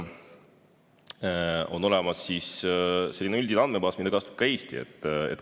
On olemas üldine andmebaas, mida kasutab ka Eesti.